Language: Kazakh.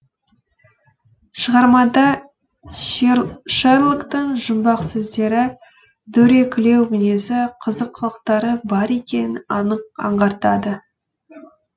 шығармада шерлоктың жұмбақ сөздері дөрекілеу мінезі қызық қылықтары бар екенін анық аңғартады